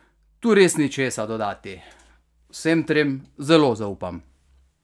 Tu res ni česa dodati, vsem trem zelo zaupam.